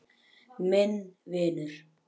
Minn vinur.